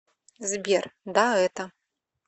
сбер да это